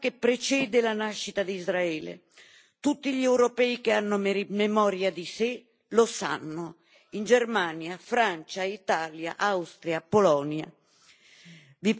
È un'ostilità che precede la nascita di Israele. Tutti gli europei che hanno memoria di sé lo sanno, in Germania, Francia, Italia, Austria, Polonia.